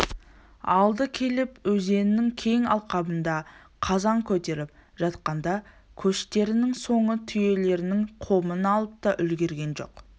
алды келіп өзеннің кең алқабында қазан көтеріп жатқанда көштерінің соңы түйелерінің қомын алып та үлгерген жоқ